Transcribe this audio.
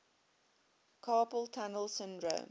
carpal tunnel syndrome